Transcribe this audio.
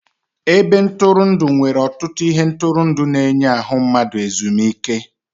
Ebe ntụrụndụ nwere ọtụtụ ihe ntụrụndụ na-enye ahụmahụ ezumike.